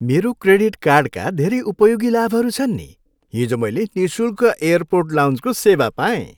मेरो क्रेडिट कार्डका धेरै उपयोगी लाभहरू छन् नि। हिजो मैले निःशुल्क एयरपोर्ट लाउन्जको सेवा पाएँ।